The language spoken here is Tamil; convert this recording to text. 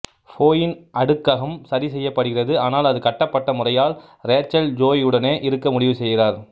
ஃபோபின் அடுக்ககம் சரிசெய்யப்படுகிறது ஆனால் அது கட்டப்பட்ட முறையால் ரேச்சல் ஜோயியுடனே இருக்க முடிவு செய்கிறார்